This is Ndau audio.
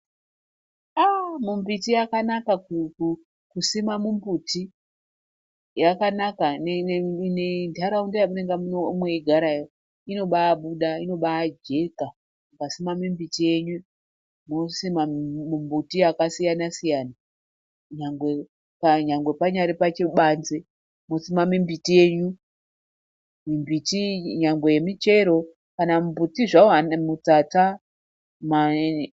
Aaa mumbiti yakanaka kusima mumbuti yakanaka nenharaunda yamunenge mweigarayo inobabuda inobajeka mungasima mimbiti yenyu mosima mumbuti yakasiyana siyana nyangwe panyari pachibanze mosima mimbiti yenyu mimbiti iyi nyangwe yemichero kana mumbuti zvawo mutsatsa mayinini.